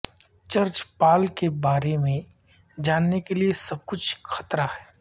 church پال کے بارے میں جاننے کے لئے سب کچھ خطرہ ہے